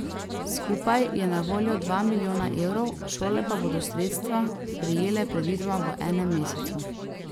Skupaj je na voljo dva milijona evrov, šole pa bodo sredstva prejele predvidoma v enem mesecu.